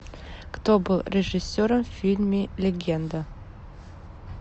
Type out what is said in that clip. кто был режиссером в фильме легенда